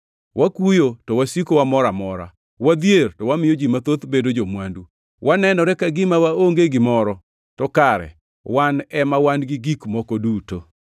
wakuyo, to wasiko wamor amora, wadhier, to wamiyo ji mathoth bedo jo-mwandu, wanenore ka gima waonge gimoro, to kare wan ema wan gi gik moko duto.